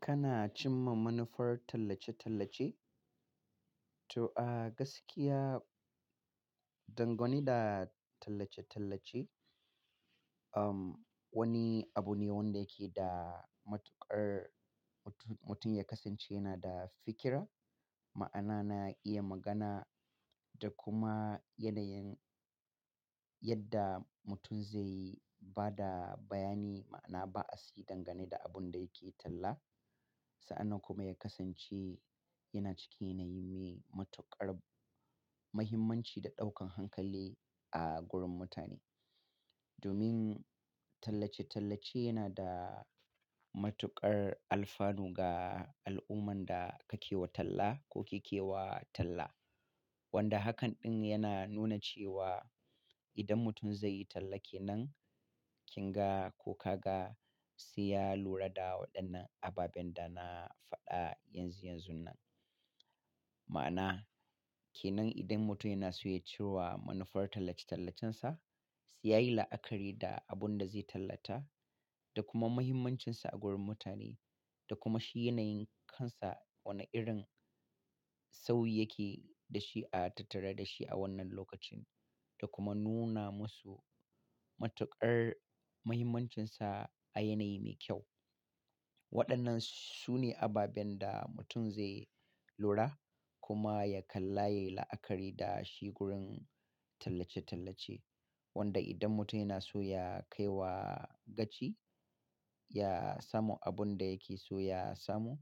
Kana cimma manufar tallace-tallace? To a gaskiya, dangane da tallace-tallace, um, wani abu ne wanda yake da matuƙar mutum, mutum ya kasance yana da fikira, ma'ana na iya magana da kuma yanayin yadda mutum zaiyi bada bayani ma'ana ba a si dangane da abun da yake talla. Sa'an nan kuma ya kasance yana cike yanayi me matuƙar muhimmanci da ɗaukan hankali a gurin mutane. Domin tallace-tallace yana da matuƙar alfanu ga al'umman da kake wa talla ko ki ke wa talla. Wanda hakan ɗin yana nuna cewa idan mutum zai yi talla ke nan, kin ga ko ka ga, sai ya lura da waɗannan ababen da na faɗa yanzu yanzun nan. Ma'ana, ke nan idan mutum yana so ya cirwa manufar tallace-tallacensa, sai yayi la'akari da abun da zai tallata da kuma muhimmancinsa a gurin mutane da kuma shi yanayin kansa wane irin sauyike da shi a tattare da shi a wannan lokacin. Da kuma nuna masu matuƙar muhimmancinsa a yanayi mai kyau. Waɗannan su ne ababen da mutum zai lura kuma ya kalla, ya yi la'akari da shi gurin tallace-tallace. Wanda idan mutum yana so ya kai wa gaci, ya samu abun da yake so ya samu,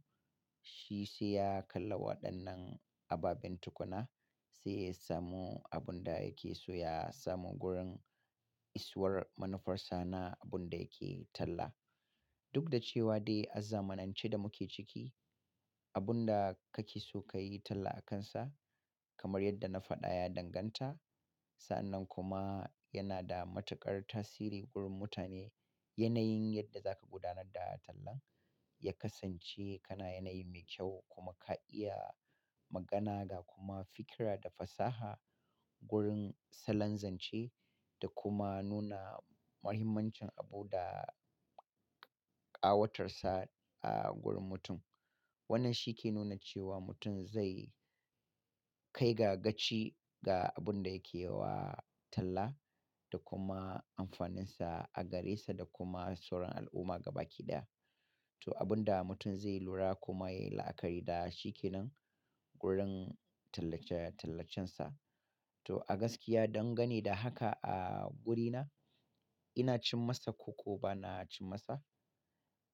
shi sai ya kalla waɗannan ababen tukuna, sai ya samu abun da yake so ya samu gurin isowar manufar sa na abun da yake talla. Duk da cewa dai a zamanance da muke ciki, abun da kake so ka yi talla akansa, kamar yadda na faɗa ya danganta. Sa'an nan kuma yana da matuƙar tasiri gurin mutane. Yanayin yadda za ka gudanar da tallan, ya kasance kana yanayi mai kyau kuma ka iya magana ga kuma fikira da fasaha gurin salon zance da kuma nuna muhimmancin abu da ƙawatarsa a gurin mutum. Wannan shi ke nuna cewa mutum zai kai ga gaci ga abun da yake wa talla da kuma amfaninsa a gare sa da kuma sauran al'umma gabaki ɗaya. To abun da mutum zai lura kuma yayi la'akari da shi ke nan gurin tallace-tallacensa. To a gaskiya dangane da haka a wurina, ina cin masa ko ko bana cin masa.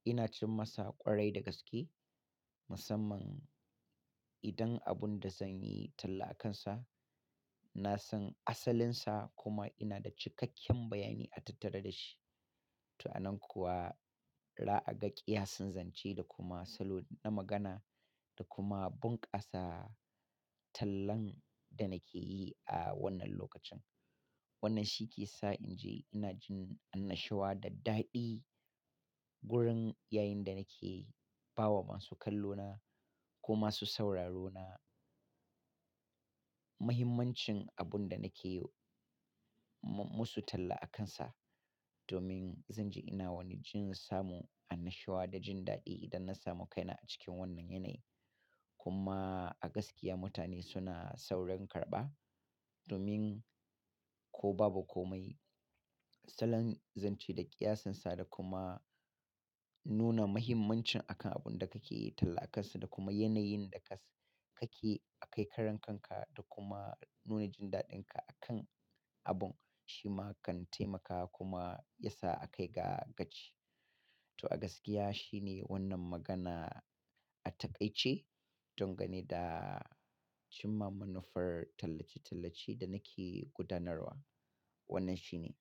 Ina cin masa ƙwarai da gaske. Musamman idan abun da zan yi talla akansa, na san asalinsa kuma ina da cikakken bayani a tattare da shi. To a nan kuwa ra'aga ƙiyasin zance da kuma salo na magana da kuma bunƙasa tallan da nake yi a wannan lokacin. Wannan shi ke sa in ji ina jin annashuwa da daɗi gurin yayin da nake ba wa masu kallo na ko masu sauraro na muhimmancin abun da nake yi mu-musu talla akansa. Domin zan ji ina wani jin samu annashuwa da jin daɗi idan na samu kaina a cikin wannan yanayi. Kuma a gaskiya mutane suna saurin karɓa, domin ko babu komai, salon zance da ƙiyasinsa da kuma nuna muhimmancin akan abun da kake yi talla akansa da kuma yanayin da ka s-- kake a kai karan kanka da kuma nuna jin daɗinka akan abun, shi ma kan taimaka kuma ya sa a kai ga gaci. To a gaskiya shi ne wannan magana a taƙaice dangane da cimma manufar tallace-tallace da nake gudanarwa. Wannan shi ne.